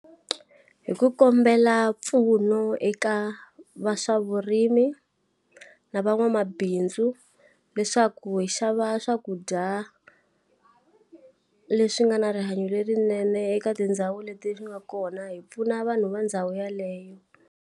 Hi ku kombela mpfuno eka va swavurimi, na va n'wamabindzu leswaku hi xava swakudya leswi nga na rihanyo lerinene eka tindhawu leti ri nga kona hi pfuna vanhu va ndhawu yeleyo.